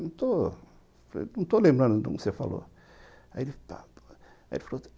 Não estou estou lembrando como você falou aí ele pá pá aí ele falou